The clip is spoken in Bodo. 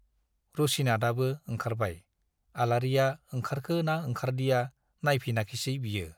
रुसिनाथआबो ओंखारबाय, आलारिया ओंखारखो ना ओंखारदिया नाइफिनाखिसै बियो।